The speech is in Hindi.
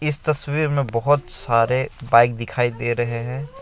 इस तस्वीर में बहोत सारे बाइक दिखाई दे रहे हैं।